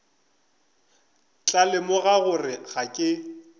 tla lemoga gore ga ke